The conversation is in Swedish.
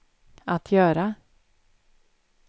att göra